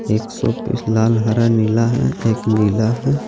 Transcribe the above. एक showpiece लाल हरा नीला है एक नीला है।